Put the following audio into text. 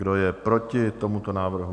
Kdo je proti tomuto návrhu?